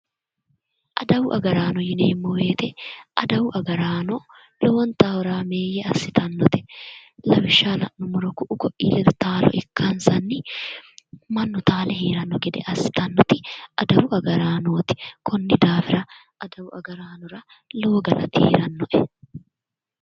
Adawu agarano yinneemmo woyte ,adawu agarano lowontanni horameye assittanote lawishshaho la'nuummoro ku"u koi ledo taalo ikkansanni mannu taale heerano gede assittanote adawu agarano koni daafira adawu agaranora lowo galatti heeranoe.